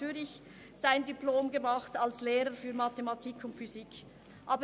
Zürich Mathematik und Physik studiert.